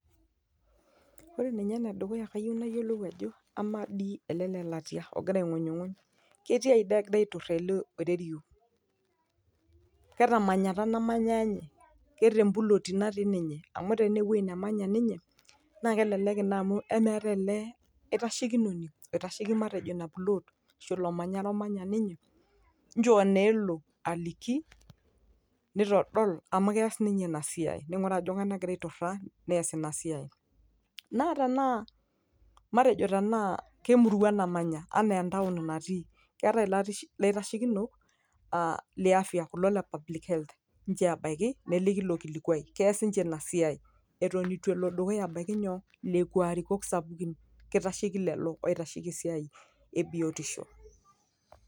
Ore ninye ene dukuya kayieu niyiolou ajo ama dii ele lelatia ogira aingunyunguny ketiaji doi egirae aituraa elee oirerio? Ke temanyatta namanya ninye, ke te plot ee natii ninye ?amu tenaa kewueji nemanya ninye. Naa kelek ina amu eme keetae neetae elde aitashekinoni oitasheki matejo ina plot ashu ilo manyara omanya ninye nchoo naa elo aliki nitodol amu kias ninye ina esiai. Naatenaa matejo naa emurua namanya ashe ke town natii, keetae ilait ilaitashekino aa le afya le public health nchoo ebaiki neliki ilo kilikuai keeas ninche siai eton itu elo dukuta abaiki nyoo lekua arikok sapuki keitasheki lelo oitasheki esiai ebiotisho.